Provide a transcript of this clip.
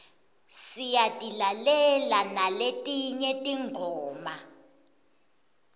siyatilalela naletinye tingoma